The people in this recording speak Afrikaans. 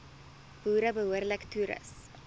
boere behoorlik toerus